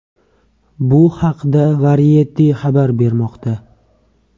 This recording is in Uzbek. Bu haqda Variety xabar bermoqda .